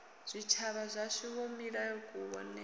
zwitshavha zwashu wo mila kuvhonele